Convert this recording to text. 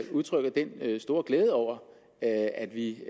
udtrykker en stor glæde over at vi